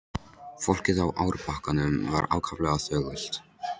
Fólkið á árbakkanum var ákaflega þögult.